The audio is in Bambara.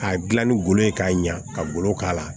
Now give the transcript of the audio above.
K'a dilan ni golo ye k'a ɲa ka golo k'a la